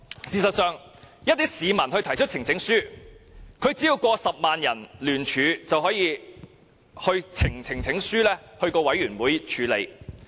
事實上，市民提出的呈請書只需超過10萬人聯署便可交由呈請書委員會處理。